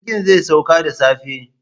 Jirgin zai sauka da safe.